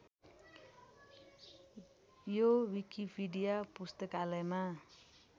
यो विकिपिडिया पुस्तकालयमा